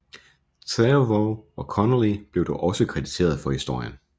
Trevorrow og Connolly blev dog også krediteret for historien